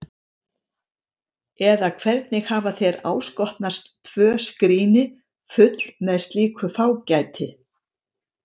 Eða hvernig hafa þér áskotnast tvö skríni full með slíku fágæti?